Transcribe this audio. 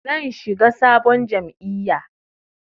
Zan shiga sabon jam'iyya.